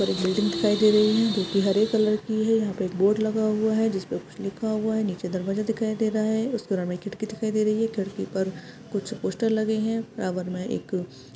और एक बिल्डिंग दिखाई दे रही है जो कि हरे कलर की है यहा पे एक बोर्ड लगा हुआ है जिस पर कुछ लिखा हुआ है निचे दरबाजा दिखाई दे राहा है उस पर हमे खिडकी दिखाई दे रही हे खिडकी पर कुछ पोस्टार लगे है एक --